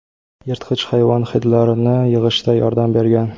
yirtqich hayvon hidlarini yig‘ishda yordam bergan.